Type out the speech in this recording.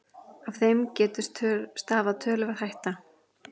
Af þeim getu stafað töluverð hætta